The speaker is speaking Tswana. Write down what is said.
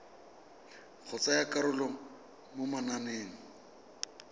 go tsaya karolo mo mananeng